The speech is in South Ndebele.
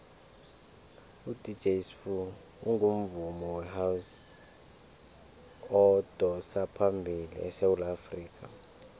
udj sbu ungumvumi wehouse odosaphambili esewula afrikha